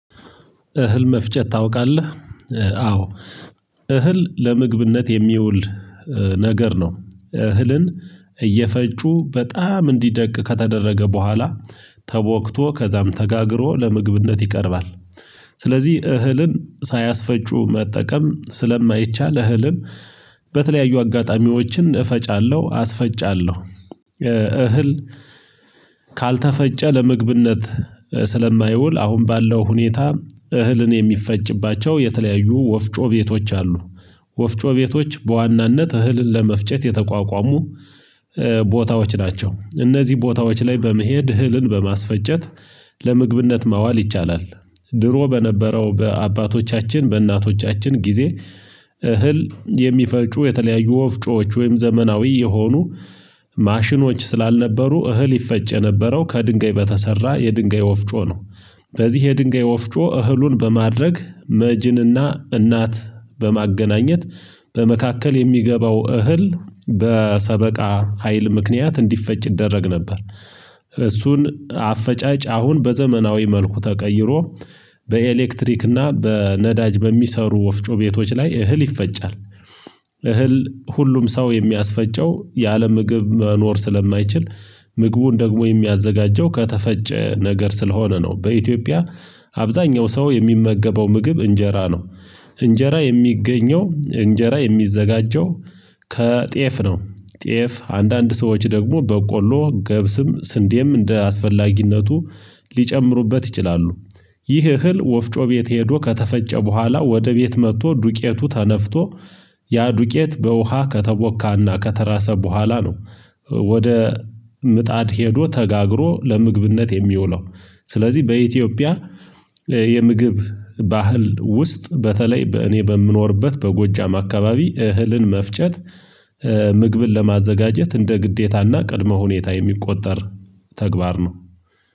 እህል መፍጨት ታውቃለህ? አዎ እህል ለምግብነት የሚውል ነገር ነው እህልን እየፈጩ በጣም እንዲደቅ ከተደረገ በኋላ ተወክቶ ከዛም ተጋግሮ ለምግብነት ይቀርባል ስለዚህ እህልን ሳያስፈጩ መጠቀም ስለማይቻል እህልም በተለያዩ አጋጣሚዎችን እፈጫለሁ አስፈጫለሁ እህል ካልተፈጨ ለምግብነት ስለማይውል አሁን ባለው ሁኔታ እህልን የሚፈጭባቸው የተለያዩ ወፍጮ ቤቶች አሉ ወፍጮ ቤቶች በዋናነት እህልን ለመፍጨት የተቋቋሙ ቦታዎች ናቸው እነዚህ ቦታዎች ላይ በመሄድ እህልን በማስፈጨት ለምግብነት ማዋል ይቻላል ድሮ በነበረው በአባቶቻችን በእናቶቻችን ጊዜ እህል የሚፈጩ የተለያዩ ወፍጮዎች ወይም ዘመናዊ የሆኑ ማሽኖች ስላልነበሩ እህል ይፈጨ የነበረው ከድንጋይ በተሰራ የድንጋይ ወፍጮ ነው በዚህ የድንጋይ ወፍጮ እህሉን በማድረግ መጅንና እናት በማገናኘት በመካከል የሚገባው እህል በሰበቃ ሀይል ምክንያት እንዲፈጭ ይደረግ ነበር እሱን አፈጫጭ አሁን በዘመናዊ መልኩ ተቀይሮ በኤሌክትሪክ እና በነዳጅ በሚሰሩ ወፍጮ ቤቶች ላይ እህል ይፈጫል እህል ሁሉም ሰው የሚያስፈጨው ያለ ምግብ መኖር ስለማይችል ምግቡን ደግሞ የሚያዘጋጀው ከተፈጨ ነገር ስለሆነ ነው በኢትዮጵያ አብዛኛው ሰው የሚመገበው ምግብ እንጀራ ነው፤ እንጀራ የሚገኘው እንጀራ የሚዘጋጀው ከጤፍ ነው ጤፍ አንዳንድ ሰዎች ደግሞ በቆሎ ገብስም ስንዴም እንደ አስፈላጊነቱ ሊጨምሩበት ይችላሉ፤ ይህ እህል ወፍጮ ቤት ሄዶ ከተፈጨ በኋላ ወደ ቤት መጥቶ ዱቄቱ ተነፍቶ ያ ዱቄት በውሃ ከተቦካና ከተራሰ በኋላ ነው ወደ ምጣድ ሄዶ ተጋግሮ ለምግብነት የሚውለው ስለዚህ በኢትዮጵያ የምግብ ባህል ውስጥ በተለይ በእኔ በምኖርበት በጎጃም አካባቢ እህልን መፍጨት ምግብን ለማዘጋጀት እንደ ግዴታና ቅድመ ሁኔታ የሚቆጠር ተግባር ነው።